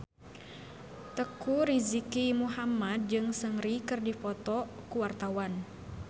Teuku Rizky Muhammad jeung Seungri keur dipoto ku wartawan